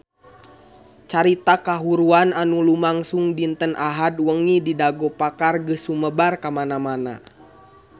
Carita kahuruan anu lumangsung dinten Ahad wengi di Dago Pakar geus sumebar kamana-mana